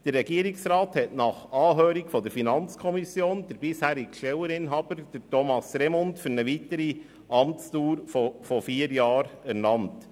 Der Regierungsrat hat nach Anhörung der FiKo den bisherigen Stelleninhaber, Thomas Remund, für eine weitere Amtsdauer von vier Jahren ernannt.